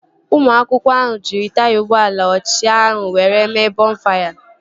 Ụmụ akwụkwọ ahụ jiri taya ụgbọala ochie ahụ were mee bọnfaya